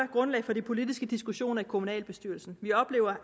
grundlag for de politiske diskussioner i kommunalbestyrelsen vi oplever